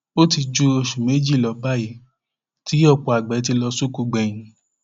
ó ti ju oṣù méjì lọ báyìí tí ọpọ àgbẹ ti lọ sóko gbẹyìn